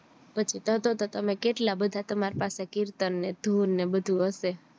પછી તારો તરતજ કેટલા બધા તમારી પાસે કીર્તન ને ધૂન ને બધું હયશે